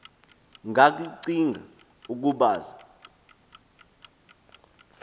ngakllcinga ukub aza